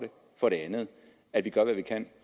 for det andet at vi gør hvad vi kan